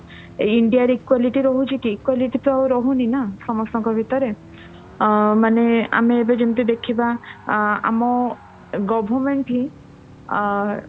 india ରେ equality ରହୁଛି କି equality ତ ରହୁନି ନା ସମସ୍ତଙ୍କ ଭିତରେ ଆଁ ମାନେ ଏବେ ଆମେ ଯେମିତି ଦେଖିବା ଆଁ ଆମ ହିଁ ଅ